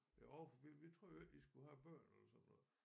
Jo for vi vi troede jo ikke I skulle have børn eller sådan noget